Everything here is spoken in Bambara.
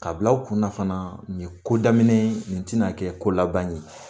Ka bila u kunna fana nin ye ko daminɛ ye ,nin ti na kɛ ko laban ye.